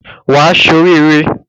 Wà á ṣoríre.